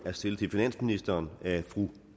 er stillet til finansministeren af fru